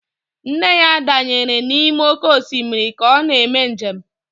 Nne ya danyere n'ime oké osimiri ka ọ na-eme njem